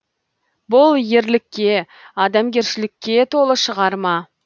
бұл ерлікке адамгершілікке толы шығарма